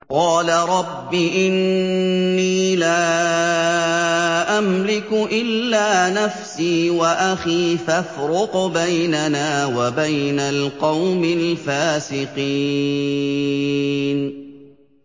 قَالَ رَبِّ إِنِّي لَا أَمْلِكُ إِلَّا نَفْسِي وَأَخِي ۖ فَافْرُقْ بَيْنَنَا وَبَيْنَ الْقَوْمِ الْفَاسِقِينَ